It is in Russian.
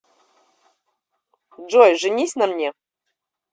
джой женись на мне